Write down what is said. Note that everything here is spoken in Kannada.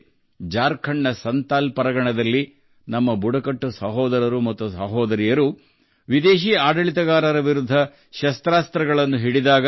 ನಂತರ ಜಾರ್ಖಂಡ್ನ ಸಂತಾಲ್ ಪರಗಣದಲ್ಲಿ ನಮ್ಮ ಬುಡಕಟ್ಟು ಸಹೋದರರು ಮತ್ತು ಸಹೋದರಿಯರು ವಿದೇಶಿ ಆಡಳಿತಗಾರರ ವಿರುದ್ಧ ಶಸ್ತ್ರಾಸ್ತ್ರಗಳನ್ನು ಹಿಡಿದರು